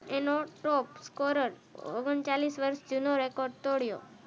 એનો top scorer ઓંગન ચાલીસ વર્ષ જૂનો રેકોર્ડ તોડ્યો